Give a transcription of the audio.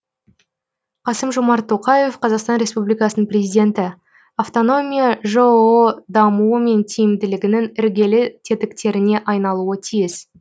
қасым жомарт тоқаев қазақстан республикасының президенті автономия жоо дамуы мен тиімділігінің іргелі тетіктеріне айналуы тиіс